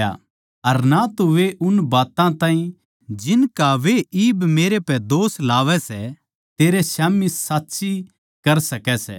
अर ना तो वे उन बात्तां ताहीं जिनका वे इब मेरै पै दोष लावै सै तेरै स्याम्ही साच्ची साबित कर सकै सै